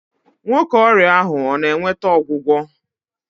Nwoke ọrịa ahụ ọ na-nweta ọgwụgwọ?